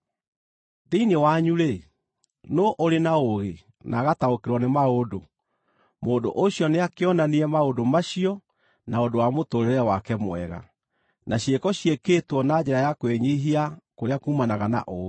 Thĩinĩ wanyu-rĩ, nũũ ũrĩ na ũũgĩ na agataũkĩrwo nĩ maũndũ? Mũndũ ũcio nĩakĩonanie maũndũ macio na ũndũ wa mũtũũrĩre wake mwega, na ciĩko ciĩkĩĩtwo na njĩra ya kwĩnyiihia kũrĩa kuumanaga na ũũgĩ.